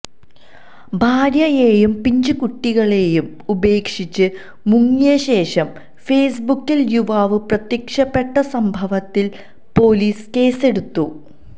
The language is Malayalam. ഭാര്യയെയും പിഞ്ചു കുട്ടികളെയും ഉപേക്ഷിച്ച് മുങ്ങിയശേഷം ഫേസ്ബുക്കില് യുവാവ് പ്രത്യക്ഷപ്പെട്ട സംഭവത്തില് പോലീസ് കേസെടുത്തു